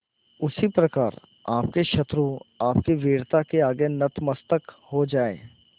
उसी प्रकार आपके शत्रु आपकी वीरता के आगे नतमस्तक हो जाएं